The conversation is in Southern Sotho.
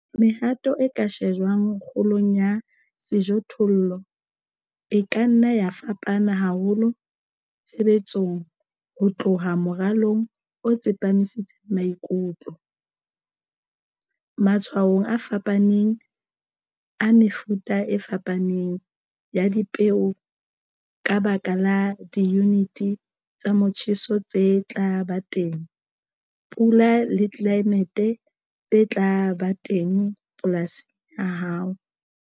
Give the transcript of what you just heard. Mehato e ka shejwang kgolong ya sejothollo e ka nna ya fapana haholo tshebetsong ho tloha moralong o tsepamisitseng maikutlo matshwaong a fapaneng a mefuta e fapaneng ya dipeo ka baka la diyunite tsa motjheso tse tla ba teng, pula le tlelaemete tse tla ba teng polasing ya hao.